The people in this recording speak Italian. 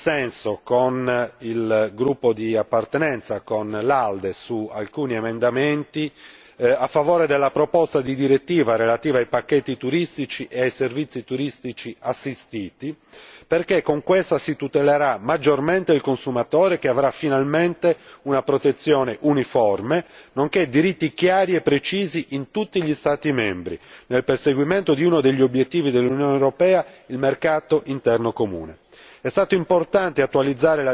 È per questo, che ho votato anche in dissenso con il gruppo di appartenenza, con l'ALDE su alcuni emendamenti a favore della proposta di direttiva relativa ai pacchetti turistici e ai servizi turistici assistiti perché con questa si tutelerà maggiormente il consumatore che avrà finalmente una protezione uniforme, nonché diritti chiari e precisi in tutti gli Stati membri nel perseguimento di uno degli obiettivi dell'Unione europea il mercato interno comune.